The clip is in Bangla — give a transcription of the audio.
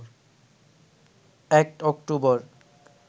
১ অক্টোবর